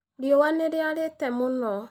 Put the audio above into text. Riũa nĩ rĩarĩte mũno